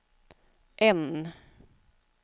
N